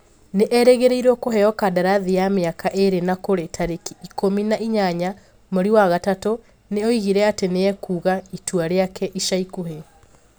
Nĩ erĩgĩrĩirwo kũheo kandarathi ya mĩaka ĩĩrĩ na kũrĩ tarĩki ikumi na inyanya mweri wa gatatũ nĩ oigire atĩ nĩ ekuga itua rĩake ica ikuhĩ.